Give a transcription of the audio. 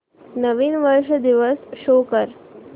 नवीन वर्ष दिवस शो कर